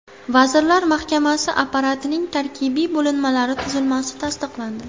Vazirlar Mahkamasi apparatining tarkibiy bo‘linmalari tuzilmasi tasdiqlandi.